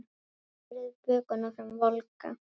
Berið bökuna fram volga.